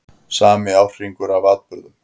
Sami árhringur af atburðum.